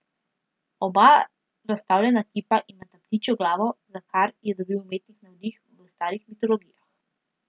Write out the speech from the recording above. Oba razstavljena kipa imata ptičjo glavo, za kar je dobil umetnik navdih v starih mitologijah.